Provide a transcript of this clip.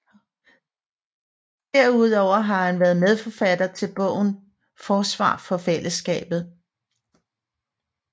Derudover har han været medforfatter til bogen Forsvar for fællesskabet